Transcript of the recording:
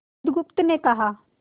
बुधगुप्त ने कहा